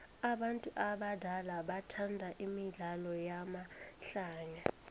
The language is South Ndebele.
abantu abadala bathanda imidlalo yamahlaya